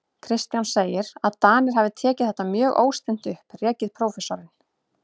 Kristján segir, að Danir hafi tekið þetta mjög óstinnt upp, rekið prófessorinn